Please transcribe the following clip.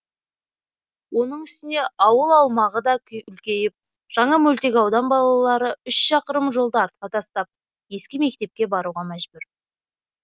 оның үстіне ауыл аумағы да үлкейіп жаңа мөлтекаудан балалары үш шақырым жолды артқа тастап ескі мектепке баруға мәжбүр